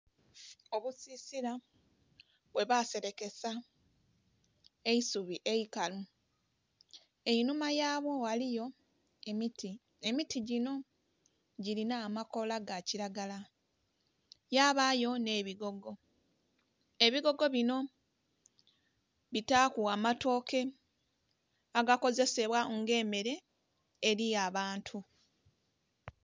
Obusisila bwe baserekesa eisubi eikalu einhuma ghansi ghaligho emiti emiti dhino dhilina amakoola ga kilagala, yabayo nhe bigogo, ebigogo binho bitaku amatoke agakozesebwa nga emere eri abantu.